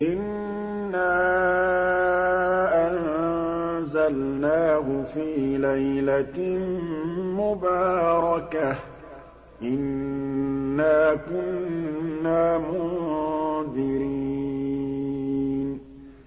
إِنَّا أَنزَلْنَاهُ فِي لَيْلَةٍ مُّبَارَكَةٍ ۚ إِنَّا كُنَّا مُنذِرِينَ